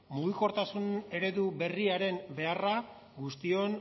mugikortasun eredu berriaren beharra guztion